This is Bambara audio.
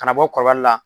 Ka na bɔ kɔlɔlɔ la